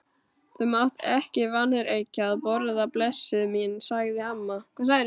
Þú mátt ekki vanrækja að borða, blessuð mín, sagði amma.